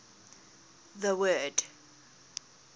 the word